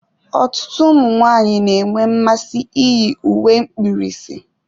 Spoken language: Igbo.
Ọtụtụ ụmụ nwanyị na-enwe mmasị iyi uwe mkpirisi.